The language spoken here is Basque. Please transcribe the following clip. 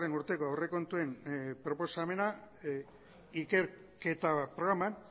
urteko aurrekontuen proposamena ikerketa programan